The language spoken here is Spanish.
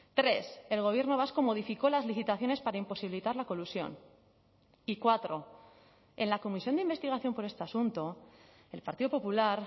tres el gobierno vasco modificó las licitaciones para imposibilitar la colusión y cuatro en la comisión de investigación por este asunto el partido popular